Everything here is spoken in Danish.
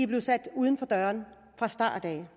blevet sat uden for døren fra starten